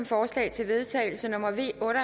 forslag til vedtagelse nummer v en og